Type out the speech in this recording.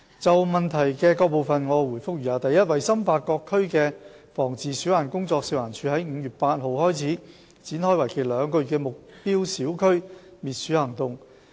就質詢的各部分，我答覆如下：一為深化各區的防治鼠患工作，食環署已在5月8日起展開為期兩個月的目標小區滅鼠行動。